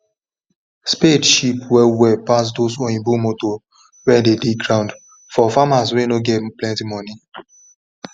spade cheap well well pass those oyibo motor wen dey dig ground for farmers wen nor get plenty money